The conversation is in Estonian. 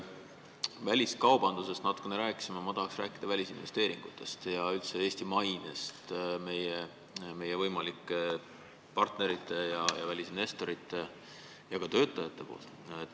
Väliskaubandusest me natuke rääkisime, mina tahaksin rääkida välisinvesteeringutest ja üldse Eesti mainest meie võimalike partnerite, välisinvestorite ja ka töötajate seas.